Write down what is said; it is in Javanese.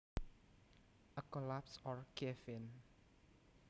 A collapse or cave in